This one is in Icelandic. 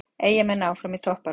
Eyjamenn áfram í toppbaráttu